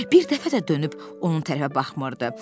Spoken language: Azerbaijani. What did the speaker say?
Bir dəfə də dönüb onun tərəfə baxmırdı.